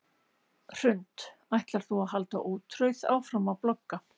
Hrund: Ætlar þú að halda ótrauð áfram að blogga?